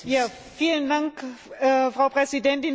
Frau Präsidentin, liebe Kolleginnen, liebe Kollegen!